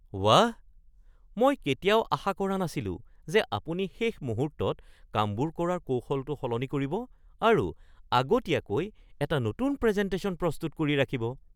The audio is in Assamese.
ৱাহ! মই কেতিয়াও আশা কৰা নাছিলো যে আপুনি শেষ মুহূৰ্তত কামবোৰ কৰাৰ কৌশলটো সলনি কৰিব আৰু আগতীয়াকৈ এটা নতুন প্ৰেজেণ্টেশ্যন প্ৰস্তুত কৰি ৰাখিব।